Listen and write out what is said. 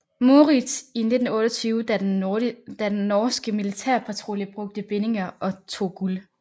Moritz i 1928 da den norske militærpatrulje brugte bindingerne og tog guld